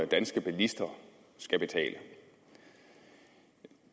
danske bilister skal betale